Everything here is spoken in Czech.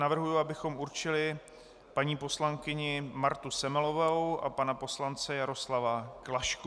Navrhuji, abychom určili paní poslankyni Martu Semelovou a pana poslance Jaroslava Klašku.